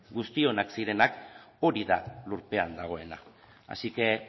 guztionak zirenak hori da lurpean dagoena asi que